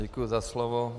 Děkuji za slovo.